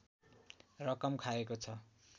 रकम खाएको छ